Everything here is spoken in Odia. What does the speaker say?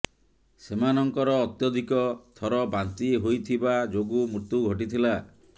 ସେମାନଙ୍କର ଅତ୍ୟଧିକ ଥର ବାନ୍ତି ହୋଇଥିବା ଯୋଗୁଁ ମୃତ୍ୟୁ ଘଟିଥିଲା